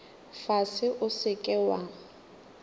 fase o se ke wa